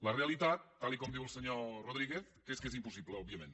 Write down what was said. la realitat tal com diu el senyor rodríguez és que és impossible òbviament